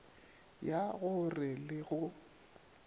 ya go re le go